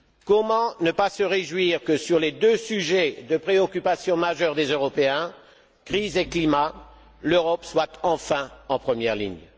Comment ne pas se réjouir que sur les deux sujets de préoccupation majeure des Européens crise et climat l'Europe soit enfin en première ligne?